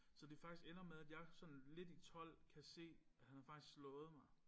Så det faktisk ender med at jeg sådan lidt i 12 kan se at han har faktisk slået mig